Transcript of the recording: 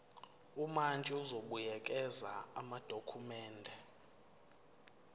umantshi uzobuyekeza amadokhumende